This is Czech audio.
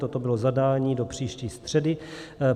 Toto bylo zadání do příští středy.